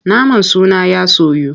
Naman suna ya soyu.